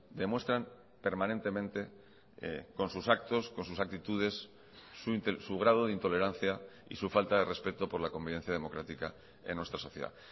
demuestran permanentemente con sus actos con sus actitudes su grado de intolerancia y su falta de respeto por la convivencia democrática en nuestra sociedad